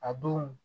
A don